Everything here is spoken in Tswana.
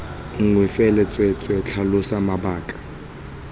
nngwe fela tsweetswee tlhalosa mabaka